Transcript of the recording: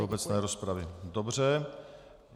Do obecné rozpravy, dobře.